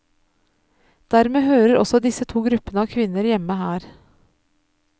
Dermed hører også disse to gruppene av kvinner hjemme her.